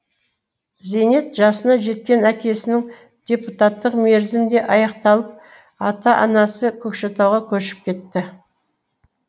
зейнет жасына жеткен әкесінің депутаттық мерзімі де аяқталып ата анасы көкшетауға көшіп кетті